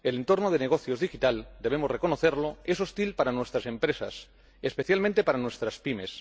El entorno de negocios digital —debemos reconocerlo— es hostil para nuestras empresas, especialmente para nuestras PYME.